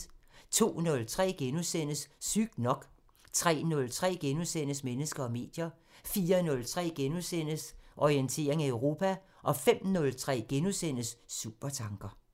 02:03: Sygt nok * 03:03: Mennesker og medier * 04:03: Orientering Europa * 05:03: Supertanker *